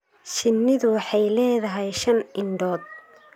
Shinnidu waxay leedahay shan indhood.